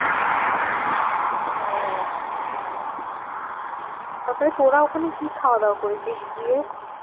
হ্যাঁ তারপরে তোরা ওখানে কি খাওয়াদাওয়া করেছিস গিয়ে?